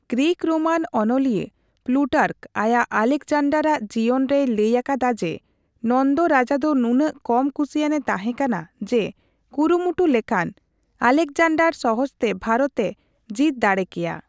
Greco Roman ᱚᱱᱚᱞᱤᱭᱟᱹ Plutarch ᱟᱭᱟᱜ 'ᱟᱞᱮᱠᱡᱟᱱᱰᱟᱨᱟᱜ ᱡᱤᱭᱚᱱ' ᱨᱮᱭ ᱞᱟᱹᱭ ᱟᱠᱟᱫᱟ ᱡᱮ, ᱱᱚᱱᱫᱚ ᱨᱟᱡᱟᱫᱚ ᱱᱩᱱᱟᱹᱜ ᱠᱚᱢ ᱠᱩᱥᱤᱭᱟᱱᱮ ᱛᱟᱦᱮᱸᱠᱟᱱᱟ ᱡᱮ ᱠᱩᱨᱩᱢᱩᱴᱩ ᱞᱮᱠᱷᱟᱱ ᱟᱞᱮᱠᱡᱟᱱᱰᱟᱨ ᱥᱚᱦᱚᱡ ᱛᱮ ᱵᱷᱟᱨᱚᱛ ᱮ ᱡᱤᱛ ᱫᱟᱲᱮ ᱠᱮᱭᱟ ᱾